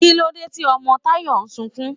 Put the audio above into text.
Kílódé tí ọmọ Tayọ̀ n sunkún?